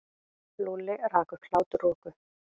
Lúlli rak upp hláturroku.